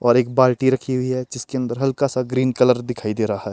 और एक बाल्टी रखी हुई है जिसके अंदर हल्का सा ग्रीन कलर दिखाई दे रहा है।